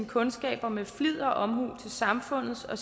kundskaber med flid og omhu til samfundets og